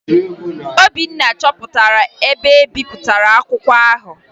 Obinna chọpụtara ebe e bipụtara akwụkwọ ahụ